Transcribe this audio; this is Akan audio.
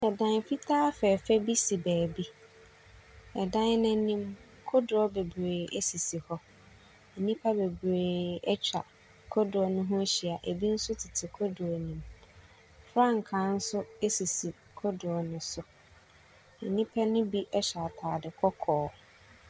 Dan fitaa fɛɛfɛ bi si baabi. Na dan no anim, kodoɔ bebree sisi hɔ. Nnipa bebree atwa kodoɔ no ho ahyia. Bi nso tete kodoɔ no mu. Frankaa nso sisi kodoɔ no so. Nnipa no bi hyɛ atade kɔkɔɔ.